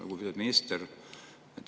Lugupeetud minister!